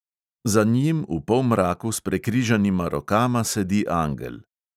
Za njim v polmraku s prekrižanima rokama sedi angel.